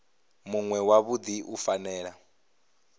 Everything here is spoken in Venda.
munwe wa davhi u fanela